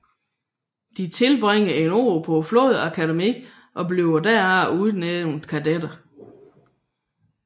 De tilbringer et år på flådeakademiet og bliver derefter udnævnt kadetter